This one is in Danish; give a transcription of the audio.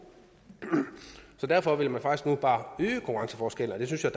så derfor vil man faktisk nu bare øge konkurrenceforskellen og det synes jeg